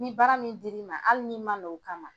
Ni baara min dir'i ma hali n'i ma na o kama,